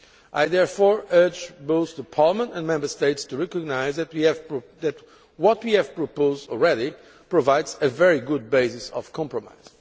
I therefore urge both Parliament and Member States to recognise that what we have proposed already provides a very good basis for compromise.